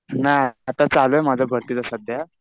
नाही. आता चालू आहे माझं भरतीच सध्या.